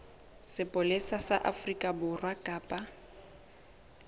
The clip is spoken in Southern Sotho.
sepolesa sa afrika borwa kapa